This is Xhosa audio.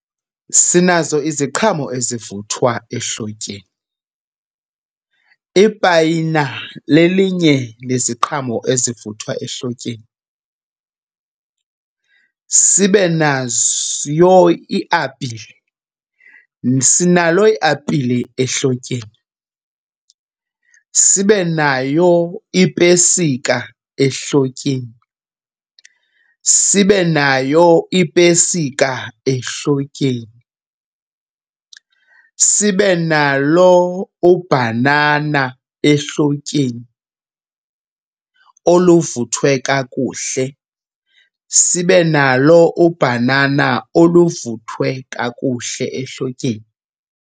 Sinazo iziqhamo ezivuthwa ehlotyeni. Ipayina lelinye leziqhamo ezivuthwa ehlotyeni. Sibe nayo iapile, sinalo iapile ehlotyeni. Sibe nayo ipesika ehlotyeni, sibe nayo ipesika ehlotyeni. Sibe nalo ubhanana ehlotyeni oluvuthwe kakuhle, sibe nalo ubhanana oluvuthwe kakuhle ehlotyeni.